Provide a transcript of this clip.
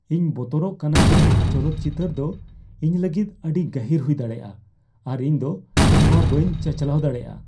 ᱤᱧ ᱵᱚᱛᱚᱨᱚᱜ ᱠᱟᱱᱟ ᱡᱮ ᱪᱚᱞᱚᱛ ᱪᱤᱛᱟᱹᱨ ᱫᱚ ᱤᱧ ᱞᱟᱹᱜᱤᱫ ᱟᱹᱰᱤ ᱜᱟᱹᱦᱤᱨ ᱦᱩᱭ ᱫᱟᱲᱮᱭᱟᱜᱼᱟ ᱟᱨ ᱤᱧ ᱫᱚ ᱱᱚᱣᱟ ᱵᱟᱹᱧ ᱪᱟᱪᱟᱞᱟᱣ ᱫᱟᱲᱮᱭᱟᱜᱼᱟ ᱾